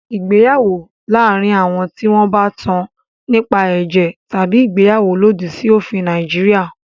Ìgbéyàwó láàárín àwọn tí wọn bá tán nípa ẹ̀jẹ̀ tabi ìgbéyàwó lòdì sí òfin Nàìjíríà.